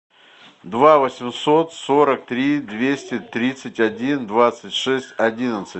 два восемьсот сорок три двести тридцать один двадцать шесть одиннадцать